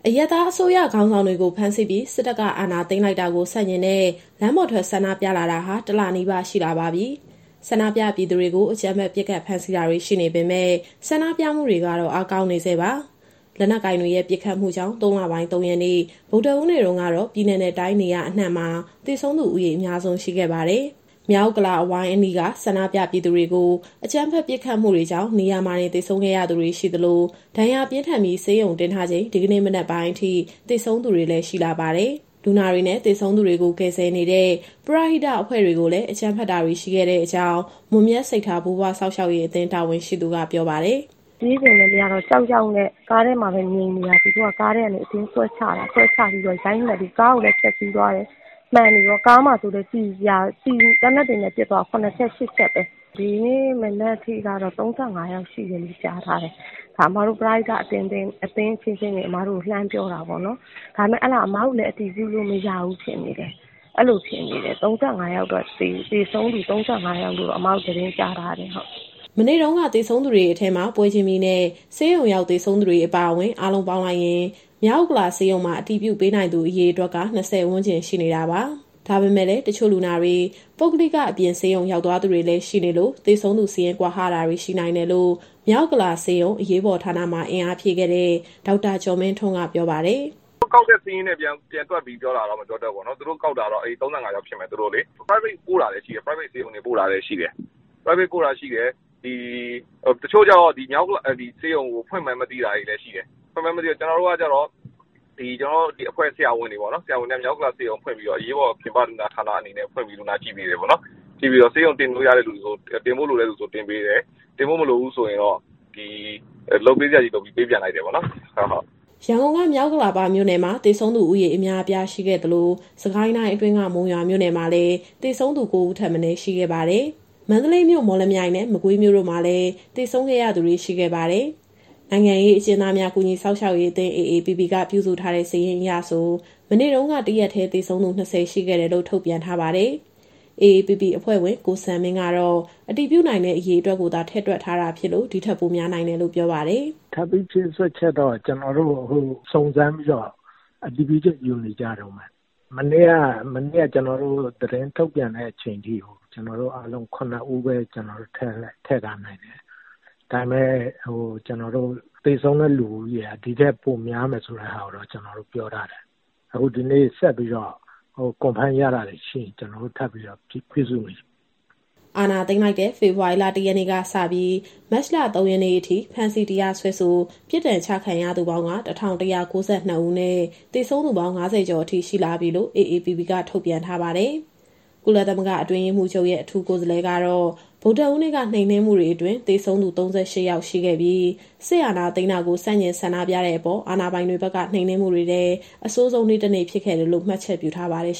အရပ်သားအစိုးရခေါင်းဆောင်တွေကို ဖမ်းဆီးပြီး စစ်တပ်က အာဏာသိမ်းလိုက်တာကို ဆန့်ကျင်တဲ့ လမ်းပေါ်ထွက်ဆန္ဒပြလာတာဟာ တလနီးပါးရှိလာပါပြီ။ ဆန္ဒပြပြည်သူတွေကို အကြမ်းဖက်ပစ်ခတ် ဖမ်းဆီးတာတွေ ရှိနေပေမဲ့ ဆန္ဒပြမှုတွေကတော့ အားကောင်းနေဆဲပါ။ လက်နက်ကိုင်တွေရဲ့ ပစ်ခတ်မှုကြောင့် ၃ လပိုင်း၊ ၃ ရက်နေ့ ဗုဒ္ဓဟူးနေ့တုန်းကတော့ ပြည်နယ်နဲ့တိုင်း နေရာအနှံ့မှာ သေဆုံးသူဦးရေ အများဆုံးရှိခဲ့ပါတယ်။ မြောက်ဥက္ကလာ အဝိုင်းအနီးက ဆန္ဒပြပြည်သူတွေကို အကြမ်းဖက်ပစ်ခတ်မှုတွေကြောင့် နေရာမှာတင်သေဆုံးခဲ့ရသူတွေ ရှိသလို၊ ဒဏ်ရာပြင်းထန်ပြီး ဆေးရုံတင်ထားချိန် ဒီကနေ့မနက်ပိုင်းအထိ သေဆုံးသူတွေလည်း ရှိလာပါတယ်။ လူနာတွေနဲ့ သေဆုံးသူတွေကို ကယ်ဆယ်နေတဲ့ ပရဟိတအဖွဲ့တွေကိုလည်း အကြမ်းဖက်တာတွေ ရှိခဲ့တဲ့အကြောင်း မွန်မြတ်စိတ်ထား ဘိုးဘွားစောင့်ရှောက်ရေးအသင်း တာဝန်ရှိသူက ပြောပါတယ်။ "ပြေးချိန်လည်း မရတော့ ကြောက်ကြောက်နဲ့ ကားထဲမှာပဲငြိမ်နေတာ။ သူတို့က ကားထဲကနေ အတင်းဆွဲချပြီးတော့ ရိုက်နှက်ပြီး ကားကိုလည်း ဖျက်စီးသွားတယ်။ ကားကိုလည်း သေနတ်တွေနဲ့ ပစ်သွားတာ ၇ ချက်၊ ၈ ချက်ပဲ။ သေဆုံးသူက ဒီနေ့မနက်ထိကတော့ ၃၅ ယောက်ရှိတယ်လို့ ကြားထားတယ်။ ဒါ ပရဟိတအသင်းအချင်းချင်း အမတို့ကို လှမ်းပြောတာပေါ့နော်။ ဒါပေမဲ့ အဲဒါ အစ်မတို့လည်း အတည်ပြုလို့မရဘူး ဖြစ်နေတယ်။ သေဆုံးသူ ၃၅ ယောက်လို့တော့ အစ်မတို့ သတင်းကြားထားတယ်။" မနေ့တုန်းက သေဆုံးသူတွေအထဲမှာ ပွဲချင်းပြီးနဲ့ ဆေးရုံရောက်သေဆုံးသူတွေ အပါအဝင်၊ အားလုံးပေါင်းလိုက်ရင် မြောက်ဥက္ကလာဆေးရုံမှာ အတည်ပြုပေးနိုင်သူအရေအတွက်က ၂၀ ဝန်းကျင်ရှိနေတာပါ။ ဒါပေမဲ့လည်း တချို့လူနာတွေ ပုဂ္ဂလိက အပြင်ဆေးရုံရောက်သွားသူတွေလည်း ရှိနေလို့ သေဆုံးသူစာရင်း ကွာဟတာတွေရှိနိုင်တယ်လို့ မြောက်ဥက္ကလာဆေးရုံ၊ အရေးပေါ်ဌာနမှာ အင်အားဖြည့်ခဲ့တဲ့ ဒေါက်တာကျော်မင်းထွန်းက ပြောပါတယ်။ "သူတို့ကောက်တဲ့ စာရင်းနဲ့ ပြန်တွက်ပြီးပြောတာလားတော့ မပြောတတ်ဘူးပေါ့နော်။ သူတို့ကောက်တာကတော့ ၃၅ ယောက်ဖြစ်မယ်။ ပုဂ္ဂလိကဆေးရုံ ပို့တာလည်း ရှိတယ်။ တချို့ကျတော့ ဒီမြောက်ဥက္ကလာဆေးရုံကို ဖွင့်မှန်းမသိတာလည်း ရှိတယ်။ ကျနော်တို့ အဖွဲ့ဆရာဝန်တွေ မြောက်ဥက္ကလာဆေးရုံကို ဖွင့်ပြီးတော့ အရေးပေါ်ပြင်ပဌာန ဖွင့်ပြီးတော့ လူနာကြည့်ပေးတယ်ပေါ့။ ဆေးရုံတင်ဖို့လိုတဲ့သူဆို တင်ပေးတယ်။ တင်ပေးစရာမလိုတဲ့သူဆိုရင်တော့ လုပ်ပေးစရာရှိတာ လုပ်ပေးပြီး ပေးပြန်လိုက်တယ်။" ရန်ကုန်က မြောက်ဥက္ကလာပမြို့နယ်မှာ သေဆုံးသူဦးရေ အများအပြားရှိခဲ့သလို၊ စစ်ကိုင်းတိုင်းအတွင်းက မုံရွာမြို့မှာလည်း သေဆုံးသူ ၉ ဦးထက်မနည်း ရှိခဲ့ပါတယ်။ မန္တလေးမြို့၊ မော်လမြိုင်နဲ့ မကွေးမြို့တို့မှာလည်း သေဆုံးခဲ့ရသူတွေ ရှိခဲ့ပါတယ်။ နိုင်ငံရေးအကျဉ်းသားများ ကူညီစောင့်ရှောက်ရေးအသင်း (AAPP) က ပြုစုထားတဲ့စာရင်းအရဆို မနေ့တုန်းက တရက်တည်းသေဆုံးသူ ၂၀ ရှိခဲ့တယ်လို့ ထုတ်ပြန်ထားပါတယ်။ AAPP အဖွဲ့ဝင် ကိုစံမင်းကတော့ အတည်ပြုနိုင်တဲ့ အရေအတွက်ကိုသာ ထည့်တွက်ထားတာဖြစ်လို့ ဒီထက်ပိုများနိုင်တယ်လို့ ပြောပါတယ်။ "ထပ်ပြီးဖြည့်စွက်ချက်တော့ ကျနော်တို့အခု စုံစမ်းပြီးတော့ အတည်ပြုချက်ယူနေကြတုန်းပဲ။ မနေ့က ကျနော်တို့ သတင်းထုတ်ပြန်တဲ့အချိန်အထိ ၇ ဦးပဲ ထည့်ထားနိုင်တယ်။ ဒါပေမဲ့ သေဆုံးတဲ့လူဦးရေဟာ ဒီထက်ပိုများတဲ့ဆိုတာကိုတော့ ကျနော်တို့ပြောထားတယ်။ ဆိုတော့ အခုဒီနေ့ ဆက်ပြီးတော့ အတည်ပြုလို့ရတာတွေ ရှိရင် ထပ်ပြီးတော့ စာရင်းပြုစုနေတယ်။" အာဏာသိမ်းလိုက်တဲ့ ဖေဖော်ဝါရီလ ၁ ရက်နေ့ကစပြီး မတ်လ ၃ ရက်နေ့အထိ ဖမ်းဆီး၊ တရားစွဲဆို၊ ပြစ်ဒဏ်ချခံရသူပေါင်းက ၁,၁၉၂ ဦးနဲ့ သေဆုံးသူပေါင်း ၅၀ ကျော်အထိ ရှိလာပြီလို့ AAPP က ထုတ်ပြန်ထားပါတယ်။ ကုလသမဂ္ဂ အတွင်းရေးမှူးချုပ်ရဲ့ အထူးကိုယ်စားလှယ်ကတော့ ဗုဒ္ဓဟူးနေ့က နှိမ်နင်းမှုတွေအတွင်း သေဆုံးသူ ၃၈ ယောက်ရှိပြီး၊ စစ်အာဏာသိမ်းတာကို ဆန့်ကျင်ဆန္ဒပြတဲ့အပေါ်အာဏာပိုင်တွေဘက်က နှိမ်နင်းမှုတွေထဲ အဆိုးဆုံးနေ့ တနေ့ဖြစ်ခဲ့တယ်လို့ မှတ်ချက်ပြုထားပါတယ်